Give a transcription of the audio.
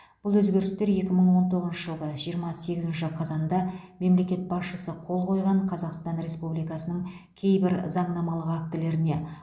бұл өзгерістер екі мың он тоғызыншы жылғы жиырма сегізінші қазанда мемлекет басшысы қол қойған қазақстан республикасының кейбір заңнамалық актілеріне